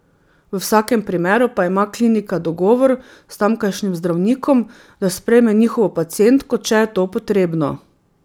V vsakem primeru pa ima klinika dogovor s tamkajšnjim zdravnikom, da sprejme njihovo pacientko, če je to potrebno.